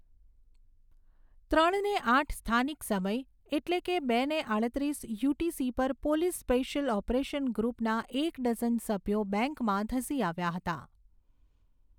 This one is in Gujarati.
ત્રણ ને આઠ સ્થાનિક સમય, એટલે કે બે ને આડત્રીસ યુટીસી પર પોલીસ સ્પેશિયલ ઓપરેશન ગ્રુપના એક ડઝન સભ્યો બેંકમાં ધસી આવ્યા હતા.